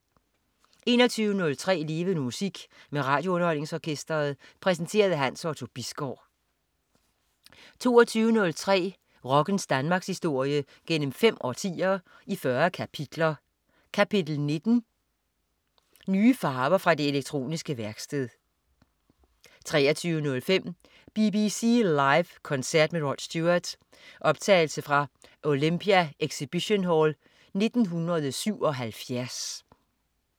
21.03 Levende Musik. Med RadioUnderholdningsOrkestret. Præsenteret af Hans Otto Bisgaard 22.03 Rockens Danmarkshistorie gennem fem årtier, i 40 kapitler. Kapitel 19: Kapitel 19: Nye farver fra det elektroniske værksted 23.05 BBC Live koncert med Rod Stewart. Optagelse fra Olympia Exibition Hall 1977